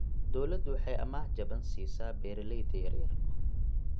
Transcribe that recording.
Dawladdu waxay amaah jaban siisaa beeralayda yaryar.